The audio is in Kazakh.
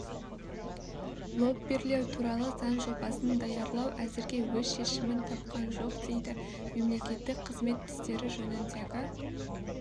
лоббирлеу туралы заң жобасын даярлау әзірге өз шешімін тапқан жоқ дейді мемлекеттік қызмет істері жөніндегі